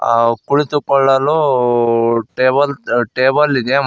ಆ ಕುಳಿತುಕೊಳ್ಳಲು table table ಇದೆ ಮತ್--